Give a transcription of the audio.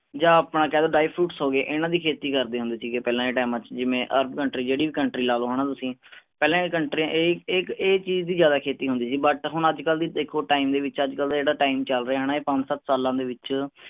ਜਾਂ ਆਪਣਾ ਕਹਿ ਦੋ dry fruits ਹੋ ਗਏ ਇਹਨਾਂ ਦੀ ਖੇਤੀ ਕਰਦੇ ਹੁੰਦੇ ਸੀਗੇ ਪਹਿਲਾਂ ਦੇ time ਚੇ ਜਿਵੇਂ ਅਰਬ country ਜਿਹੜੀ ਵੀ country ਲਾ ਲੋ ਹੈਨਾ ਤੁਸੀਂ ਪਹਿਲਾਂ ਏ ਕੰਟਰੀਆਂ ਇਹ ਇਹ ਇੱਕ ਇਹ ਚੀਜ਼ ਦੀ ਜਿਆਦਾ ਖੇਤੀ ਹੁੰਦੀ ਸੀ but ਹੁਣ ਅੱਜ ਕਲ ਦੀ ਦੇਖੋ time ਦੇ ਵਿਚ ਅੱਜ ਕਲ ਦਾ ਜਿਹੜਾ time ਚਲ ਰਿਹਾ ਹੈਨਾ ਪੰਜ ਸੱਤ ਸਾਲਾਂ ਦੇ ਵਿਚ